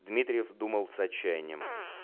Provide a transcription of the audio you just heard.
дмитриев думал с отчаянием